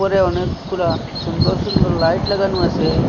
উপরে অনেকগুলা সুন্দর সুন্দর লাইট লাগানো আছে।